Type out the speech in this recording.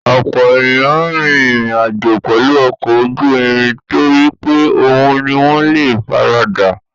Ọ̀pọ̀ ènìyàn rin ìrìn àjò pẹ̀lú ọkọ̀ ojú irin torí pé òhun ni wọ́n le faradà.